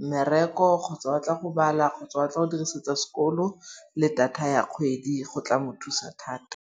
mmereko kgotsa ba tla go bala kgotsa ba tla go dirisetsa sekolo le data ya kgwedi go tla mo thusa thata.